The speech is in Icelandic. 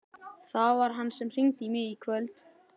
Það var hann sem hringdi í mig í kvöld.